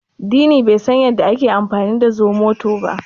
Dini bai san yadda ake amfani da zomoto ba.